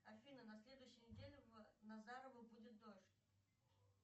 афина на следующей неделе в назарово будет дождь